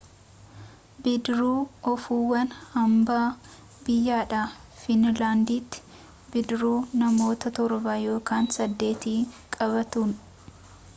bidiruu oofuun hambaa biyyaadha fiinlaanditti bidiruu namoota torba ykn sadeet qabatuun